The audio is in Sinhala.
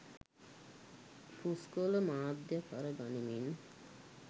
පුස්කොළ මාධ්‍යය කර ගනිමින්